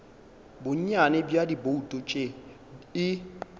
bonnyane bja dibouto tše e